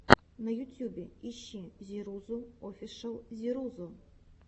на ютюбе ищи зирузу офишэл зирузу